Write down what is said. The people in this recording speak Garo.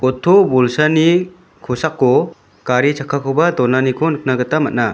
oto bolsani kosako gari chakkakoba donaniko nikna gita man·a.